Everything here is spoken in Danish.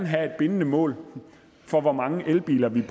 have et bindende mål for hvor mange elbiler vi